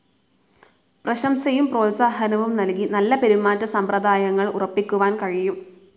പ്രശംസയും പ്രോത്സാഹനവും നൽകി നല്ല പെരുമാറ്റസമ്പ്രദായങ്ങൾ ഉറപ്പിക്കുവാൻ കഴിയും.